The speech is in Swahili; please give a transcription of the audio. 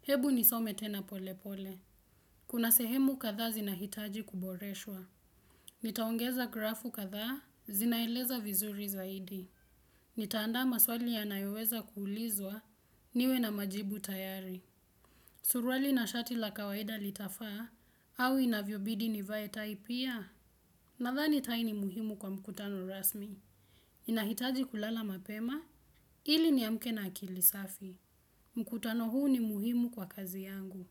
Hebu nisome tena pole pole. Kuna sehemu kadhaa zinahitaji kuboreshwa. Nitaongeza grafu kadhaa zinaeleza vizuri zaidi. Nitaandama swali yanayoweza kuulizwa niwe na majibu tayari. Surwali na shati la kawaida litafaa au inavyobidi nivae tai pia nadhani tai ni muhimu kwa mkutano rasmi. Inahitaji kulala mapema ili niamke na akili safi. Mkutano huu ni muhimu kwa kazi yangu.